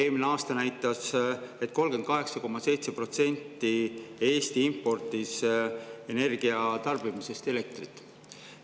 Eelmine aasta näitas, et 38,7% tarbitud elektrist Eesti importis.